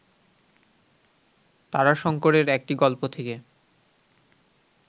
তারাশঙ্করের একটি গল্প থেকে